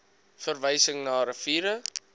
verwysing na riviere